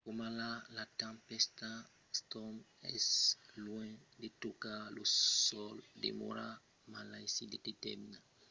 coma la tempèsta storm es luènh de tocar lo sòl demòra malaisit de determinar l’impacte potencial suls estats units o la cariba